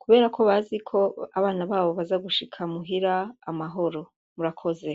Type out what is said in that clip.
kubera ko bazi ko abana babo baza gushika muhira amahoro, murakoze.